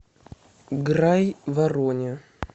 грайвороне